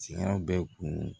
Siyan bɛ kun